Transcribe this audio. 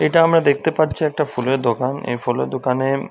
এটা আমরা দেখতে পাচ্ছি একটা ফুলের দোকান। এই ফুলের দোকানে --